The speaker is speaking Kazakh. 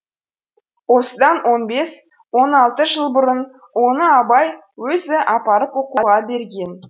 осыдан он бес он алты жыл бұрын оны абай өзі апарып оқуға берген